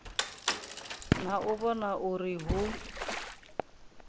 na u vhona uri hu